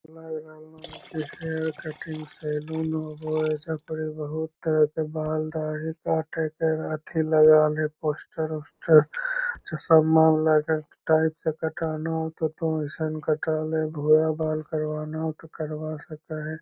Hair cutting salon होवो है ऐज़ा परी बहुत तरह बाल दाढ़ी काटे के लगल है पोस्टर उस्टर जो सलमान लागे टाइप के कटाना हो तो अइसन कटा ले भूरा बाल करवाना हो तो करवा सके है।